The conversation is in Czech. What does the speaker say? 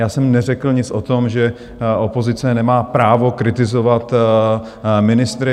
Já jsem neřekl nic o tom, že opozice nemá právo kritizovat ministry.